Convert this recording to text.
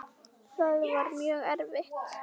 Það var mjög erfitt.